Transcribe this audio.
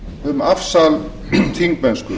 um afsal þingmennsku